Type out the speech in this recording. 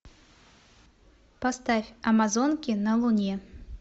поставь амазонки на луне